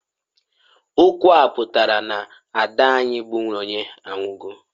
Okwu a pụtara, na -ada anyi bu Nonye anwugo.